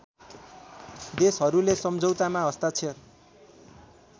देशहरूले सम्झौतामा हस्ताक्षर